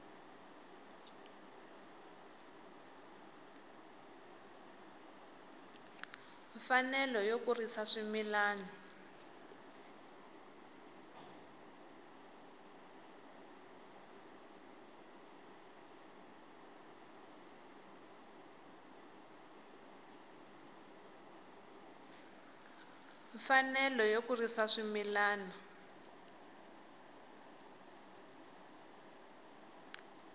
mfanelo yo kurisa swimila u